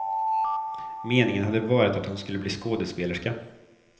Meningen hade varit att hon skulle bli skådespelerska.